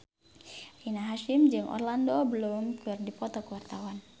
Rina Hasyim jeung Orlando Bloom keur dipoto ku wartawan